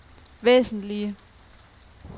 væsentlige